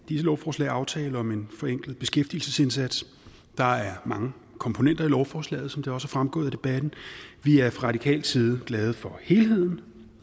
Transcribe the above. disse lovforslag aftalen om en forenklet beskæftigelsesindsats der er mange komponenter i lovforslagene som det også er fremgået af debatten vi er fra radikal side glade for helheden